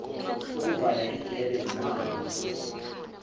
ukuvala igebe ngamafa